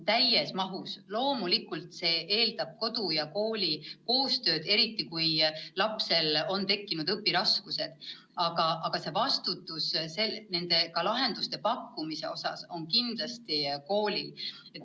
Loomulikult see eeldab kodu ja kooli koostööd, eriti kui lapsel on tekkinud õpiraskused, aga vastutus lahenduste pakkumise eest on kindlasti koolil.